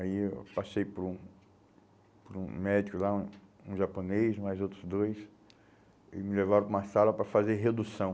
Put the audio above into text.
Aí eu passei por um um médico lá, um um japonês, mais outros dois, e me levaram para uma sala para fazer redução.